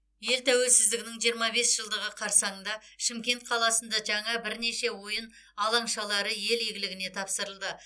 ел тәуелсіздігінің жиырма бес жылдығы қарсаңында шымкент қаласында жаңа бірнеше ойын алаңшалары ел игіліне тапсырылды